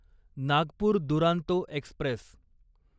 Nagpur Duronto Express